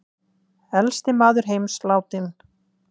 Elsti maður heims látinn